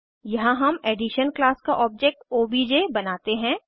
यहाँ हम addition class का ऑब्जेक्ट ओबीजे बनाते हैं